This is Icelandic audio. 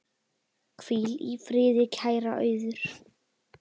Hvíl í friði, kæra Auður.